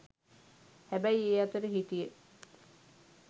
හැබැයි ඒ අතර හිටිය